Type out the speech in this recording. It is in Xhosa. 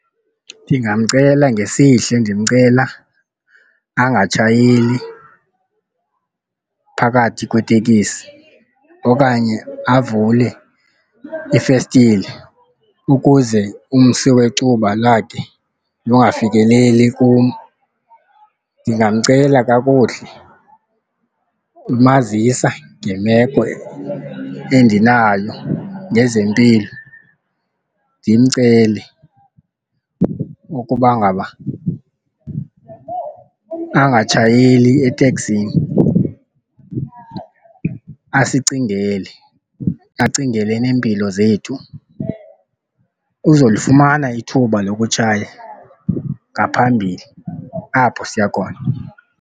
Ndingamcela ngesihle ndimcela angatshayeli phakathi kwetekisi okanye avule ifestile ukuze umsi wecuba lakhe lungafikeleli kum. Ndingamcela kakuhle, ndimazisa ngemeko endinayo ngezempilo, ndimcele ukuba ngaba angatshayeli eteksini. Asicingele, acingele neempilo zethu. Uzolufumana ithuba lokutshaya ngaphambili apho siya khona.